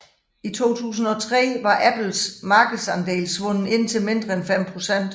I 2003 var Apple markedsandel svundet ind til mindre end 5 procent